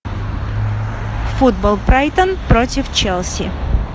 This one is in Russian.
футбол брайтон против челси